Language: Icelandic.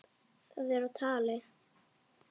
Það er á tali.